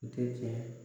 Tɛ tiɲɛ